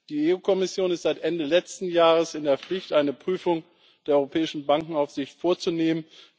Die EU Kommission ist seit Ende letzten Jahres in der Pflicht, eine Prüfung der europäischen Bankenaufsicht vorzunehmen.